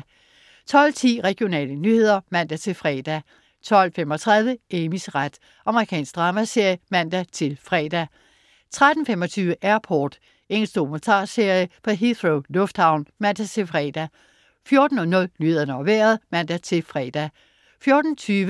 12.10 Regionale nyheder (man-fre) 12.35 Amys ret. Amerikansk dramaserie (man-fre) 13.25 Airport. Engelsk dokumentarserie fra Heathrow lufthavn (man-fre) 14.00 Nyhederne og Vejret (man-fre)